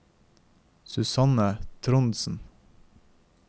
Susanne Trondsen